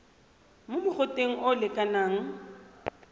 mo mogoteng o o lekanang